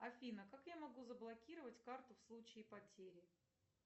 афина как я могу заблокировать карту в случае потери